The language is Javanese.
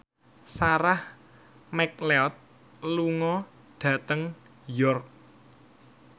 Sarah McLeod lunga dhateng York